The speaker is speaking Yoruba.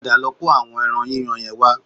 Padà lọ kó àwọn ẹran yíyan yẹn wá